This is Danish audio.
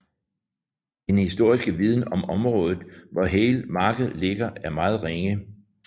Den historisk viden om området hvor Halė marked ligger er meget ringe